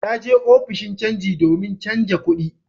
Ta je ofishin canji domin canja kudi